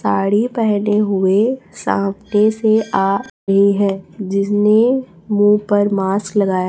साड़ी पेहने हुए सामने से आ रही है जिसने मुंह पर मास्क लगाया--